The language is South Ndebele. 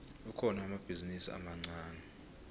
kukhona amabhizinisi amancani